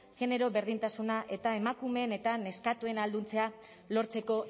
genero berdintasuna eta emakumeen eta neskatoen ahalduntzea lortzeko